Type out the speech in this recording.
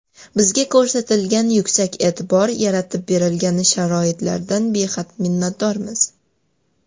Bizga ko‘rsatilgan yuksak e’tibor, yaratib berilgan sharoitlardan behad minnatdormiz.